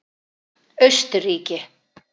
Austurríki